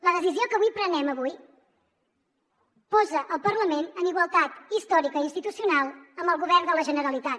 la decisió que avui prenem posa el parlament en igualtat històrica i institucional amb el govern de la generalitat